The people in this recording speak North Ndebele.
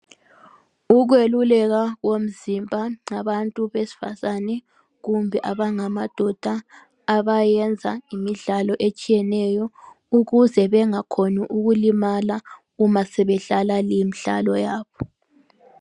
Ukweluleka komzimba . Abantu besifazane kumbe abangamadoda abayenza imidlalo etshiyeneyo ukuze bengakhoni ukulimala uma sebedlala limdlalo yabo.